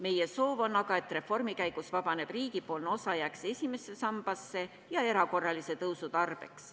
Meie soov on aga, et reformi käigus vabanev riigipoolne osa jääks esimesse sambasse ja erakorralise pensionitõusu tarbeks.